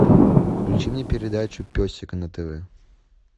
включи мне передачу песик на тв